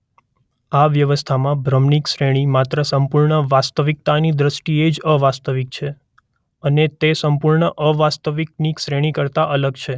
આ વ્યવસ્થામાં ભ્રમની શ્રેણી માત્ર સંપૂર્ણ વાસ્તવિકતાની દ્રષ્ટિએ જ અવાસ્તવિક છે અને તે સંપૂર્ણ અવાસ્તવિકની શ્રેણી કરતાં અલગ છે.